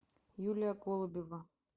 юлия голубева